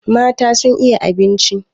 Mata sun iya abinci.